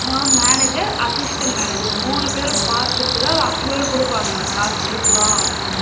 Manager, assistant manager approval குடுப்பாங்க காசு குடுக்கலாம்.